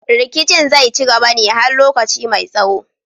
Rikicin zai ci gaba ne har lokaci mai tsaho